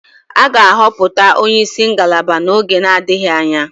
A ga-ahọpụta onye isi ngalaba n'oge na-adịghị anya